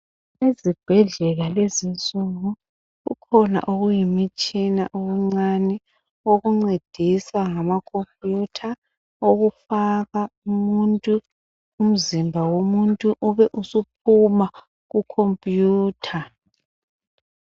Ezibhedlela lezi insuku kukhona okuyimitshina okuncane okuncedisa ngamakhompiyutha okufaka umuntu, umzimba womuntu ube usuphuma kukhompiyutha.